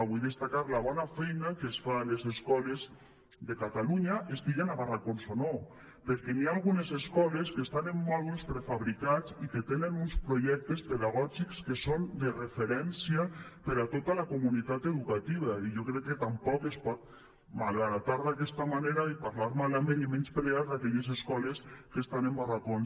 vull destacar la bona feina que es fa a les escoles de catalunya estiguin a barracons o no perquè hi ha algunes escoles que estan en mòduls prefabricats i que tenen uns projectes pedagògics que són de referència per a tota la comunitat educativa i jo crec que tampoc es pot malbaratar d’aquesta manera i parlar malament i menysprear aquelles escoles que estan en barracons